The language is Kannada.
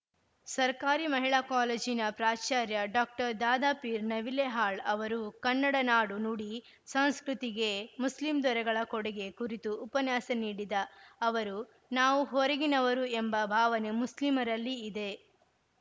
ಸರ್ಕಾರಿ ಮಹಿಳಾ ಕಾಲೇಜಿನ ಪ್ರಾಚಾರ್ಯ ಡಾಕ್ಟರ್ ದಾದಾಪೀರ್‌ ನವಿಲೇಹಾಳ್‌ ಅವರು ಕನ್ನಡ ನಾಡು ನುಡಿ ಸಂಸ್ಕೃತಿಗೆ ಮುಸ್ಲಿಂ ದೊರೆಗಳ ಕೊಡಿಗೆ ಕುರಿತು ಉಪನ್ಯಾಸ ನೀಡಿದ ಅವರು ನಾವು ಹೊರಗಿನವರು ಎಂಬ ಭಾವನೆ ಮುಸ್ಲೀಮರಲ್ಲಿ ಇದೆ